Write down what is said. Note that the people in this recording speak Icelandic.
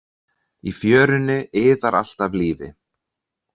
Í fjörunni iðar allt af lífi.